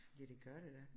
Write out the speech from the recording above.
Ja det gør det da